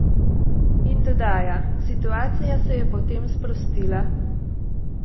In dodaja: 'Situacija se je potem sprostila.